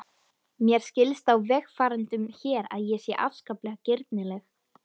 Mér skilst á vegfarendum hér að ég sé afskaplega girnileg.